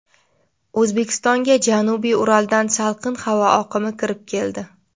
O‘zbekistonga janubiy Uraldan salqin havo oqimi kirib keldi.